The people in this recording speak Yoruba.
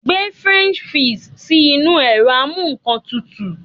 Gbe french fries si inu ero amu--nnkan-tutu